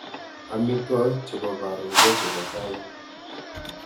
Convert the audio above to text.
Amitwogik chebo karon ko chebo tai